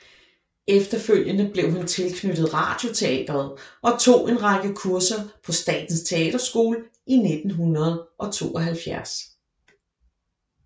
Efterfølgende blev hun tilknyttet Radioteatret og tog en række kurser på Statens Teaterskole i 1972